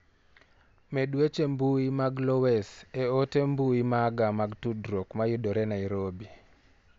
Med weche mbui mag Lowes e ote mbui maga mag tudruok ma yudore Niarobi.